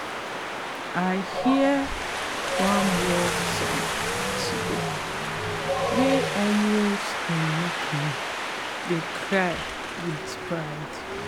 i hear one work song today wey almost make me dey cry wit pride